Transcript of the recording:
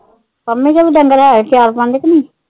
ਪੰਮੀ ਕੇ ਵੀ ਡੰਗਰ ਹੈ ਚਾਰ ਪੰਜ ਕਿ ਨਹੀਂ?